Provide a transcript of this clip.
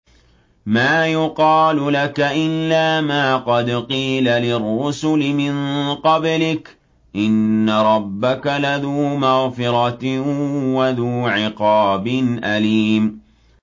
مَّا يُقَالُ لَكَ إِلَّا مَا قَدْ قِيلَ لِلرُّسُلِ مِن قَبْلِكَ ۚ إِنَّ رَبَّكَ لَذُو مَغْفِرَةٍ وَذُو عِقَابٍ أَلِيمٍ